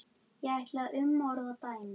Ég ætla að umorða dæmið.